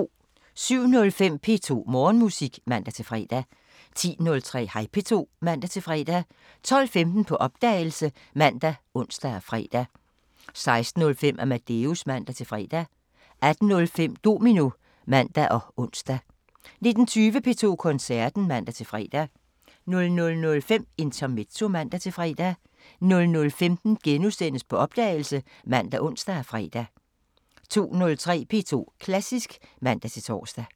07:05: P2 Morgenmusik (man-fre) 10:03: Hej P2 (man-fre) 12:15: På opdagelse ( man, ons, fre) 16:05: Amadeus (man-fre) 18:05: Domino (man og ons) 19:20: P2 Koncerten (man-fre) 00:05: Intermezzo (man-fre) 00:15: På opdagelse *( man, ons, fre) 02:03: P2 Klassisk (man-tor)